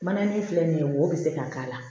Mananin filɛ nin wo bɛ se ka k'a la